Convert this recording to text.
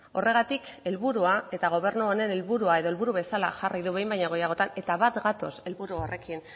horregatik helburua eta gobernu honen helburua edo helburu bezala jarri du behin baino gehiagotan eta bat gatoz helburu horrekin